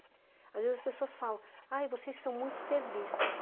Às vezes, as pessoas falam, ah, vocês são muito serviço.